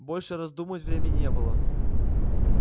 больше раздумывать времени не было